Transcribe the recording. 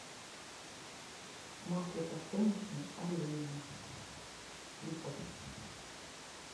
масло подсолнечное олейна литр